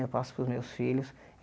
Eu passo para os meus filhos.